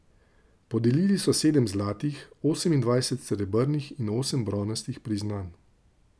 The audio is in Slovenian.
Podelili so sedem zlatih, osemindvajset srebrnih in osem bronastih priznanj.